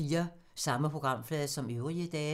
Samme programflade som øvrige dage